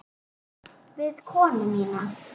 Við konu mína.